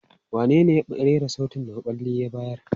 Wanene ya rera sautin da maɓalli ya bayar?